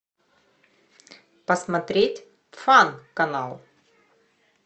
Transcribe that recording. посмотреть фан канал